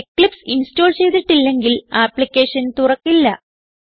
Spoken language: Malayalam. എക്ലിപ്സ് ഇൻസ്റ്റോൾ ചെയ്തിട്ടില്ലെങ്കിൽ ആപ്ലിക്കേഷൻ തുറക്കില്ല